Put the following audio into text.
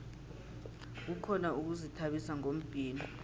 kukhona ukuzithabisa ngombhino